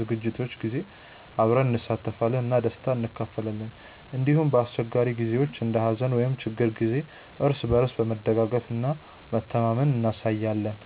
ዝግጅቶች ጊዜ አብረን እንሳተፋለን እና ደስታን እንካፈላለን። እንዲሁም በአስቸጋሪ ጊዜዎች እንደ ሀዘን ወይም ችግር ጊዜ እርስ በርስ መደጋገፍ እና መተማመን እናሳያለን።